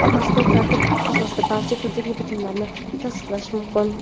mazkur tartib asosida barcha turdagi bitimlarni tasdiqlash mumkin.